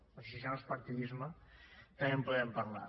doncs si això no és partidisme també en podem parlar